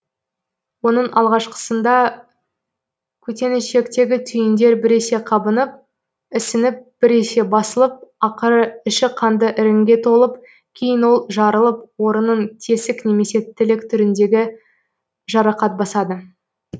оның алғашқысында көтенішектегі түйіндер біресе қабынып ісініп біресе басылып ақыры іші қанды іріңге толып кейін ол жарылып орынын тесік немесе тілік түріндегі жарақат басады